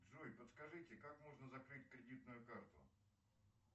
джой подскажите как можно закрыть кредитную карту